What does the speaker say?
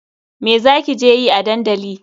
Me za ki je yi a dandali?